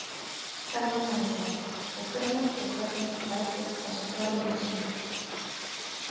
Telma Tómasson: Og hvenær og hvernig fær fólk þessa fjármuni sína?